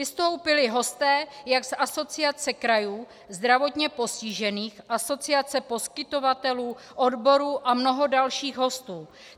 Vystoupili hosté jak z Asociace krajů, zdravotně postižených, asociace poskytovatelů, odborů a mnoho dalších hostů.